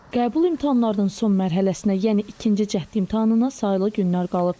Qəbul imtahanlarının son mərhələsinə, yəni ikinci cəhd imtahanına sayılı günlər qalıb.